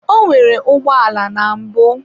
Onwere ụgbọala na mbụ.